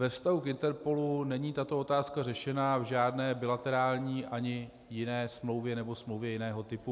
Ve vztahu k INTERPOLu není tato otázka řešena v žádné bilaterální ani jiné smlouvě nebo smlouvě jiného typu.